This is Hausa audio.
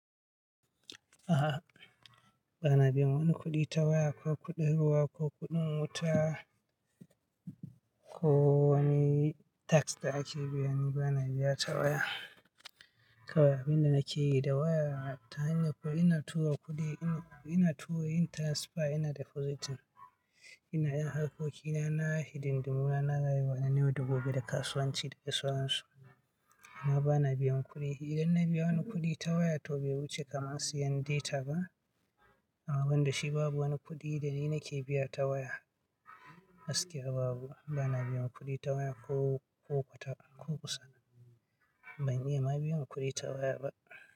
A'a, ba na biyan wani kuɗi ta waya, ko kuɗin ruwa, ko kuɗin wuta, ko wani tax da ake biyan. Ba na biya ta waya. Kawai abun da nake yi da waya ta hanyar ko ina tura kuɗi in, ina tura yin transfer yana depositing. Ina ƴan harkokina na hiɗ numera na gayar wa na newa da goge daga kasuwanci daga sauransu. Na ba na biyan kuɗi. Idan na biya wani kuɗi ta waya to bai wuce kamar siyan data ba. Amma ban da shi babu wani kuɗi da ni nake biya ta waya. Gaskiya babu, ba na biyan kuɗi ta waya ko, ko kwata ko kusa. Ban iya ma biyan kuɗi ta waya ba.